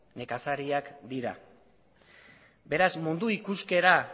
nekazariak dira beraz mundu ikuskera